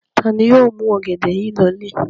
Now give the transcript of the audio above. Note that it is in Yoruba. Ta ni yóò mú ọ̀gẹ̀dẹ̀ yìí lọlé?